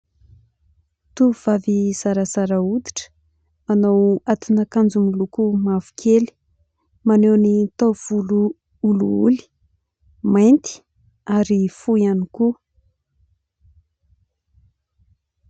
Tovovavy zarazaza hoditra, manao atin'akanjo miloko mavo kely, maneho ny taovolo olioly, mainty ary fohy ihany koa.